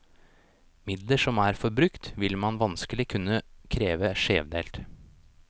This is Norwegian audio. Midler som er forbrukt, vil man vanskelig kunne kreve skjevdelt.